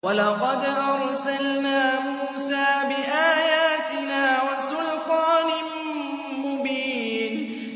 وَلَقَدْ أَرْسَلْنَا مُوسَىٰ بِآيَاتِنَا وَسُلْطَانٍ مُّبِينٍ